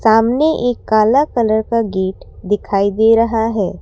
सामने एक काला कलर का गेट दिखाई दे रहा है।